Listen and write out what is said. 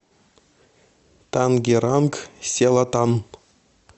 тангеранг селатан